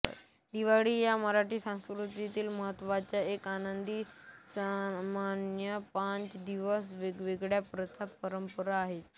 दिवाळी या मराठी संस्कृतीतील महत्त्वाच्या व आनंदी सणामध्ये पाच दिवस वेगवेगळ्या प्रथा परंपरा आहेत